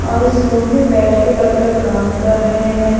और इस रूम में बैठ के वर्कर काम कर रहे हैं।